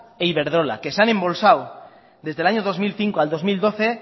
e iberdrola que se han embolsado desde el año dos mil cinco al dos mil doce